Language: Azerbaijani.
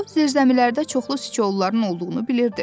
O, zirzəmilərdə çoxlu siçovulların olduğunu bilirdi.